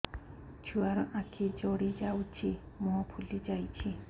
ଛୁଆର ଆଖି ଜଡ଼ି ଯାଉଛି ମୁହଁ ଫୁଲି ଯାଇଛି